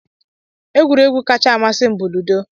Egwuregwu kacha amasị m bụ ludo